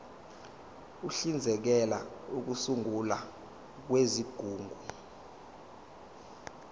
uhlinzekela ukusungulwa kwezigungu